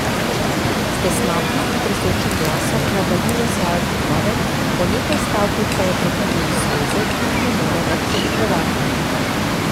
S tesnobnim in tresočim glasom nadaljuje svojo pripoved, po nekaj stavkih pa jo prekinejo solze, ki jih ne more več zadrževati.